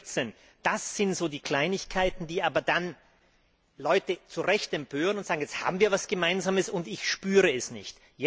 114. Das sind so die Kleinigkeiten, die aber dann die Leute zu Recht empören, die sagen Jetzt haben wir etwas Gemeinsames, und ich spüre es nicht.